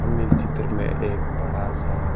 हम इस चित्र में बडा सा --